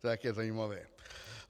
To je také zajímavé.